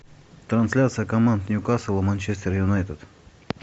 трансляция команд ньюкасл и манчестер юнайтед